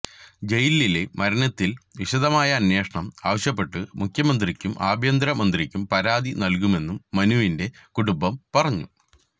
ജയിലിലെ മരണത്തില് വിശദമായ അന്വേഷണം ആവശ്യപ്പെട്ട് മുഖ്യമന്ത്രിക്കും ആഭ്യന്തര മന്ത്രിക്കും പരാതി നല്കുമെന്നും മനുവിന്റെ കുടുംബം പറഞ്ഞു